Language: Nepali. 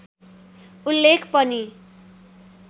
उल्लेख पनि